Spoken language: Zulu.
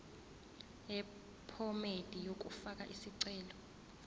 yephomedi yokufaka isicelo